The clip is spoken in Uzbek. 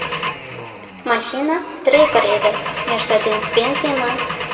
Mashina Tracker edi, Mercedes-Benz emas.